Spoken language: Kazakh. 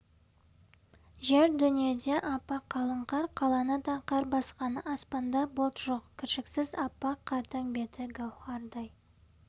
жер-дүниеде аппақ қалың қар қаланы да қар басқан аспанда бұлт жок кіршіксіз аппақ қардың беті гәуһардай